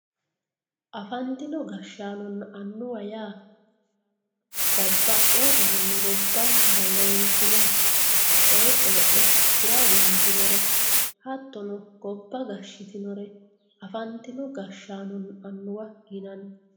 afantinno gashshaanonna annuwa yaa babbaxiyoo garinni gobbansara leeltinore babbaxino coye coyeexe tira egentinore hattono gobba gashshitinore afantinno gashshaanonna annuwa yinanni.